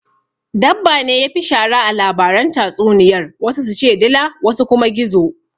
Dabbane yafi shara a labaran tatsuniyar wasu su ce dila wasu kuma gizo